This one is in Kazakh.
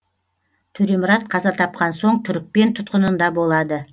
төремұрат қаза тапқан соң түрікпен тұтқынында болады